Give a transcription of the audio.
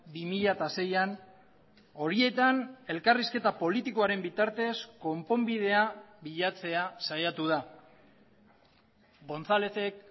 bi mila seian horietan elkarrizketa politikoaren bitartez konponbidea bilatzea saiatu da gonzálezek